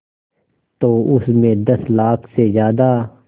तो उस में दस लाख से ज़्यादा